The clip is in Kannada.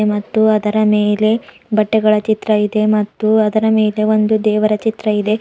ಮತ್ತು ಅದರ ಮೇಲೆ ಬಟ್ಟೆಗಳ ಚಿತ್ರ ಇದೆ ಮತ್ತು ಅದರ ಮೇಲೆ ಒಂದು ದೇವರ ಚಿತ್ರ ಇದೆ.